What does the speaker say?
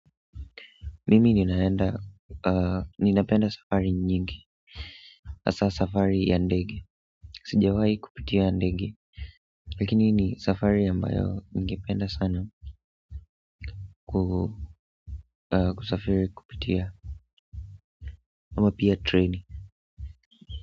Mimi ninaenda ninapenda safari nyingi hasa safari ya ndege sijawai kupitia ndege lakini ni safari ambayo ningependa sana kusafiri kupitia ama pia train.